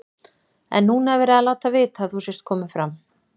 En núna er verið að láta vita að þú sért kominn fram.